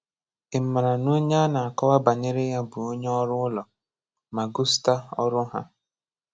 Ị̀màrà nà ònyè à nà-àkọ̀wà̀ banyerè yà bụ̀ ònyè ọrụ̀ ụlọ, mà ghòstà ọrụ̀ hà.